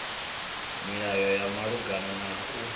milayo ya malugana na u